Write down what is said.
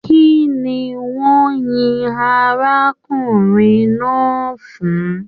Kínní wọn yín arákùnrin náà fún?